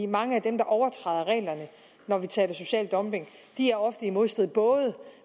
mange af dem der overtræder reglerne når vi taler social dumping er ofte i modstrid